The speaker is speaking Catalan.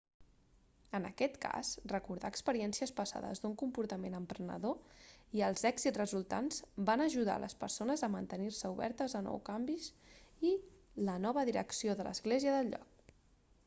en aquest cas recordar experiències passades d'un comportament emprenedor i els èxits resultants va ajudar les persones a mantenir-se obertes a nous canvis i la nova direcció de l'església del lloc